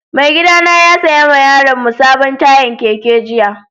Mai gida na ya saya ma yaron mu sabon tayan keke jiya.